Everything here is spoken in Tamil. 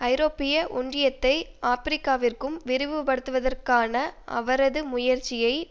ஐரோப்பிய ஒன்றியத்தை ஆபிரிக்காவிற்கும் விரிவுபடுத்துதற்கான அவரது முயற்சியை